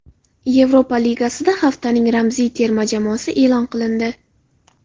Yevropa Ligasida haftaning ramziy terma jamoasi e’lon qilindi.